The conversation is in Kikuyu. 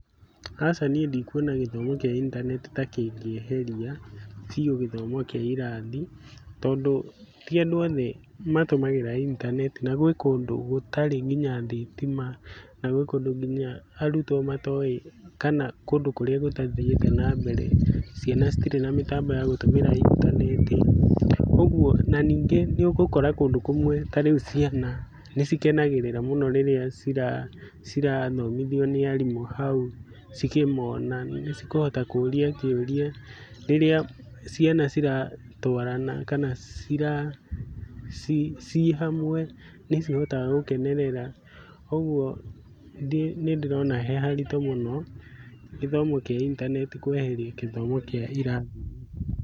Aca niĩ ndikuona gĩthomo kĩa intaneti ta kĩngĩeheria biũ gĩthomo kĩa irathi tondũ ti andũ othe matũmagĩra intaneti na gwĩ kũndũ gũtarĩ ngiyna thitima na gwĩ kũndũ nginya arutwo matoĩ, kana kũndũ kũrĩa gũtathiĩte na mbere, ciana citirĩ na mĩtambo ya gũtũmĩra intaneti, na ningĩ nĩ ũgũkora kũndũ kũmwe ta rĩu ciana nĩ cikanagĩrĩra mũno rĩrĩa cirathomithio nĩ arimũ hau cikĩmona nĩ cikũhota kũũria kĩũria, rĩrĩa ciana ciratũarana kana ciĩ hamwe nĩ cihotaga gũkenerera. Kũguo nĩ ndĩrona he harĩtũ mũno gĩthomo kĩa intaneti kũeheria gĩthomo kĩa irathi.